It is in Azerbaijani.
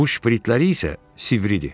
Bu şpritləri isə sivridir.